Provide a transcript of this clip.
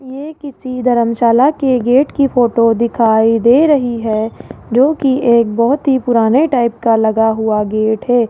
ये किसी धर्मशाला के गेट की फोटो दिखाई दे रही है जोकि एक बहोत ही पुराने टाइप का लगा हुआ गेट है।